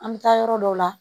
An bɛ taa yɔrɔ dɔw la